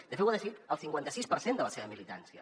de fet ho ha decidit el cinquanta sis per cent de la seva militància